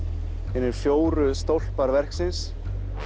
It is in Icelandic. hinir fjóru stólpar verksins